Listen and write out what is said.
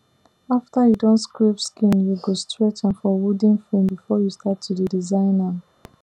after you don scrape skin you go stretch am for wooden frame before you start to dey design am